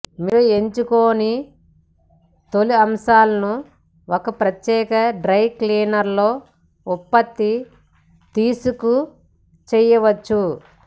మీరు ఎంచుకొని తోలు అంశాలను ఒక ప్రత్యేక డ్రై క్లీనర్ లో ఉత్పత్తి తీసుకు చేయవచ్చు